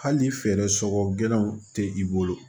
Hali ni fɛɛrɛ sɔkɔ gɛlɛnw tɛ i bolo